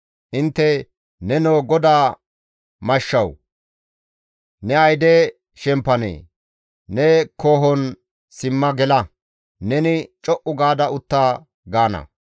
«Intte, ‹Nenoo GODA mashshawu! Ne ayde shemppanee? Ne koohon simma gela; neni co7u gaada utta› gaana.